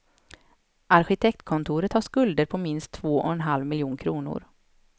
Arkitektkontoret har skulder på minst två och en halv miljon kronor.